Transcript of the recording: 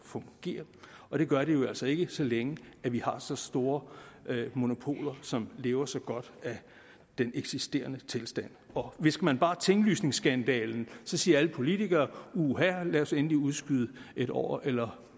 fungere og det gør det jo altså ikke så længe vi har så store monopoler som lever så godt af den eksisterende tilstand hvis man bare nævner tinglysningsskandalen så siger alle politikere uha lad os endelig udskyde det et år eller